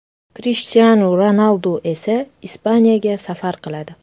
Krishtianu Ronaldu esa Ispaniyaga safar qiladi.